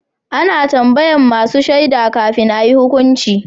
A na tambayan masu shaida kafin a yi hukunci